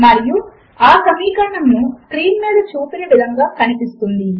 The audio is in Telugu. మరియు ఆ సమీకరణము స్క్రీన్ మీద చూపిన విధముగా కనిపిస్తుంది